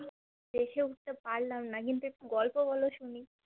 দেখে উঠতে পারলাম না কিন্তু একটু গল্প বলো শুনি